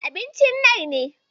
Abincin nai ne.